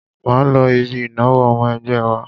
Máa lọ ibi ìnáwó ọmọ ẹgbẹ́ wa.